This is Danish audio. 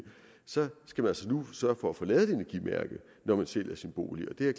skal man altså nu sørge for at få lavet et energimærke når man sælger sin bolig og det er